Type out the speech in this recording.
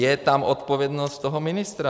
Je tam odpovědnost toho ministra.